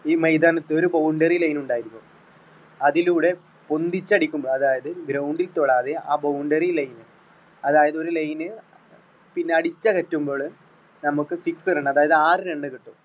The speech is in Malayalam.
ഈ മൈതാനത്ത് ഒരു boundry line ഉണ്ടായിരിക്കും അതിലൂടെ പൊന്തിച്ച് അടിക്കുമ്പോൾ അതായത് ground ണ്ടിൽ തൊടാതെ ആ boundry line അതായത് ഒരു line പിന്നെ അടിച്ചകറ്റുമ്പോള് നമ്മുക്ക് six run അതായത് ആറ് run കിട്ടും